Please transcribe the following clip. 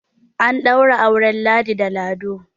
an ɗaura auren ladi da lado